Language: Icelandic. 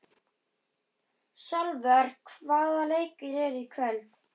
Salvör, hvaða leikir eru í kvöld?